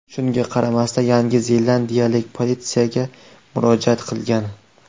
Shunga qaramasdan, Yangi zelandiyalik politsiyaga murojaat qilgan.